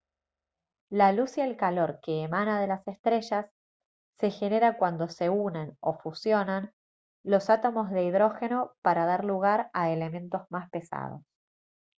la luz y el calor que emana de las estrellas se genera cuando se unen o fusionan los átomos de hidrógeno para dar lugar a elementos más pesados